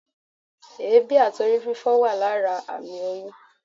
éebí atí Ori fífo wa lara amí oyún